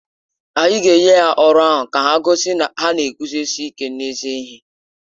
Anyị ga-enye ha ọrụ ahụ ka ha gosi na ha na-eguzosi ike n’ezi ihe.